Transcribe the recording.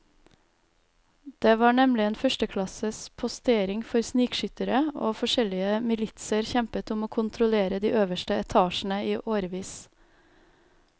Det var nemlig en førsteklasses postering for snikskyttere, og forskjellige militser kjempet om å kontrollere de øverste etasjene i årevis.